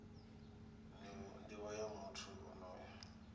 nivho ya muthu onoyo i